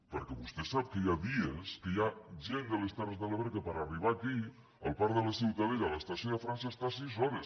perquè vostè sap que hi ha dies que hi ha gent de les terres de l’ebre que per a arribar aquí al parc de la ciutadella a l’estació de frança està sis hores